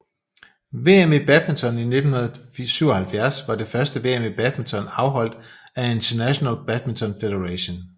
VM i badminton 1977 var det første VM i badminton afholdt af International Badminton Federation